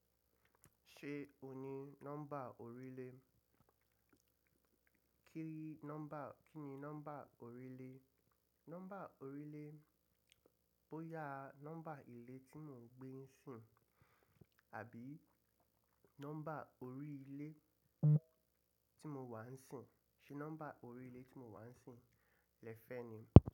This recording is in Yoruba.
Ṣé ò ní nọ́mbà orílẹ̀? Kí ni nọ́mbà orílẹ̀? Nọ́mbà orílẹ̀ bóyá nọ́mbà ilé tí mo gbé ń sìn àbí nọ́mbà orí ilé tí mo wà ń sìn. Ṣé nọ́mbà orí ilé tí mo wà ń sìn lẹ fẹ́ ni?